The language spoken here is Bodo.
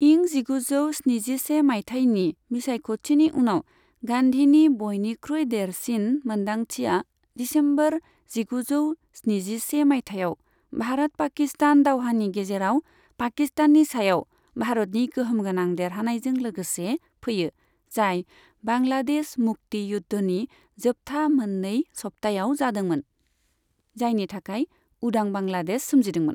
इं जिगुजौ स्निजिसे माइथायनि बिसायख'थिनि उनाव गान्धीनि बयनिख्रुइ देरसिन मोनदांथिया दिसेम्बर जिगुजौ स्निजिसे माइथायाव भारत पाकिस्तान दावहानि गेजेराव पाकिस्ताननि सायाव भारतनि गोहोमगोनां देरहानायजों लोगोसे फैयो, जाय बांग्लादेश मुक्ति युद्धनि जोबथा मोननै सप्तायाव जादोंमोन, जायनि थाखाय उदां बांग्लादेश सोमजिदोंमोन।